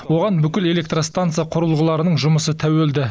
оған бүкіл электростанса құрылғыларының жұмысы тәуелді